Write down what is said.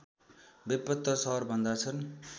बेपत्ता सहर भन्दछन्